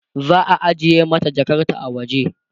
za'a ajiye mata Jakarta a waje